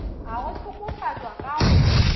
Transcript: a go hlokofatšwa ka go